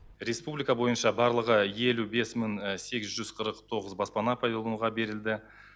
республика бойынша барлығы елу бес мың сегіз жүз қырық тоғыз баспана пайдалануға берілді